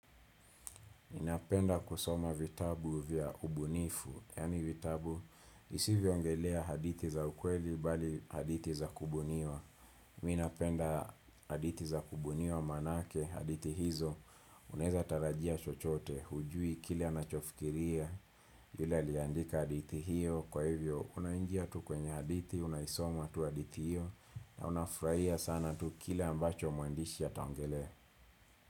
Ninapenda kusoma vitabu vya ubunifu, yaani vitabu, visivyoongelea hadithi za ukweli bali hadithi za kubuniwa. Mi napenda hadithi za kubuniwa maanake, hadithi hizo, unaweza tarajia chochote, hujui, kile anachofikiria, yule aliandika hadithi hiyo, kwa hivyo, unaingia tu kwenye hadithi, unaisoma tu hadithi hiyo, na unafurahia sana tu kile ambacho mwandishi ataongelea.